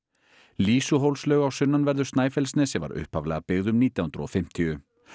lýsuhólslaug á sunnanverðu Snæfellsnesi var upphaflega byggð um nítján hundruð og fimmtíu